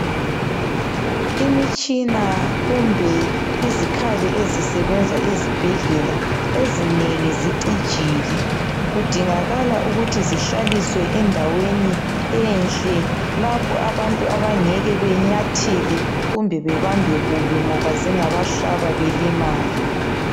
Imitshina kumbe izikhali ezisebenza ezibhedlela ezinengi zicijile. Kudingakala ukuthi zihlaliswe endaweni enhle lapho abantu abangeke benyathele kumbe bebambe kubi ngoba zingabahlaba belimale.